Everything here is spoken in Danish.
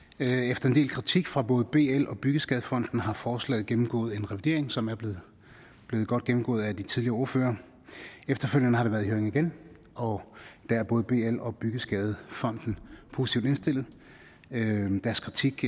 efter en del kritik fra både bl og byggeskadefonden har forslaget gennemgået en revidering som er blevet godt gennemgået af de tidligere ordførere efterfølgende har det været i høring igen og der er både bl og byggeskadefonden positivt indstillet deres kritik